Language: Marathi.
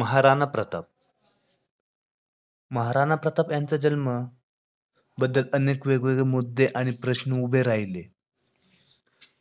महाराणा प्रताप महाराणा प्रताप यांच्या जन्माबद्दल अनेक वेगवेगळे मुद्दे आणि प्रश्न उभे राहिले